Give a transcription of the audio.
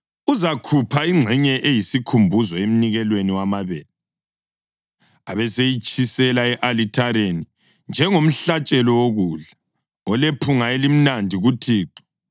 Uzakhupha ingxenye eyisikhumbuzo emnikelweni wamabele, abeseyitshisela e-alithareni njengomhlatshelo wokudla, olephunga elimnandi kuThixo.